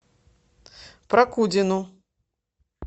прокудину